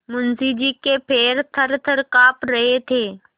मुंशी जी के पैर थरथर कॉँप रहे थे